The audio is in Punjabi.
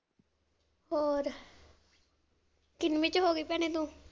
ਹੋਰ ਕਿਨਵੀ ਚ ਹੋਗੀ ਭੈਣੇ ਤੂੰ?